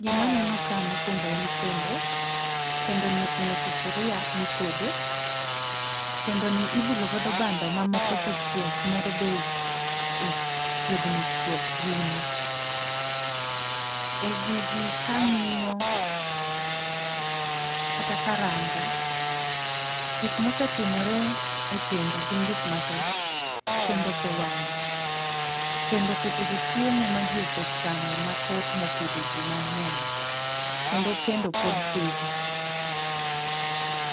Gima aneno kae mokuongo en kendo, kendoni oting'o sufuria mitede, kendoni ibulo godo bando ma moko osechiek. Moro be ochiegni chiek rumo e gigi ka ang'iyo kata ka arango, gik ma osetimore e kendo gin gik mathoth. Kendo ose wang'o ji, kendo ose tedo chiemo maji osechamo mathoth mopidho ji mang'eny kendo kendo pod pitho.